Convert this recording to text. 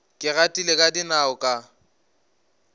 ke gatile ka dinao ka